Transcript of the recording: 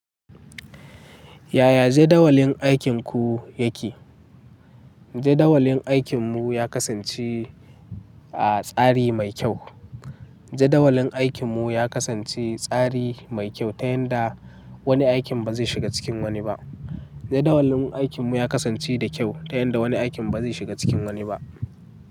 Yaya jadawalin aikinku yake? Jadawalin aikinmu ya kasance a tsari mai kyau. Jadawalin aikinmu ya kasance tsari mai kyau ta yanda wani aikin ba zai shiga cikin wani ba. Jadawalin aikinmu ya kasance da kyau ta yanda wani aikin ba zai shiga cikin wani ba.